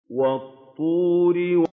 وَالطُّورِ